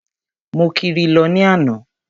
Mo kiri lọ ní àná.